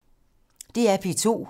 DR P2